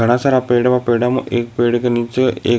घणा सारा पेड़ में पेड़ा एक पेड़ के नीचे एक --